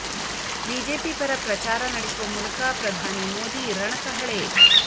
BJP ಪರ ಪ್ರಚಾರ ನಡೆಸುವ ಮೂಲಕ ಪ್ರಧಾನಿ ಮೋದಿ ರಣ ಕಹಳೆ